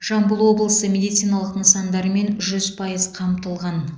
жамбыл облысы медициналық нысандармен жүз пайыз қамтылған